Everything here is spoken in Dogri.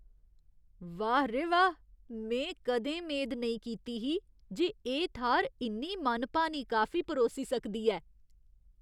वाह् रे वाह्! में कदें मेद नेईं कीती ही जे एह् थाह्‌र इन्नी मनभानी काफी परोसी सकदी ऐ।